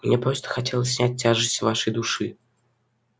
мне просто хотелось снять тяжесть с вашей души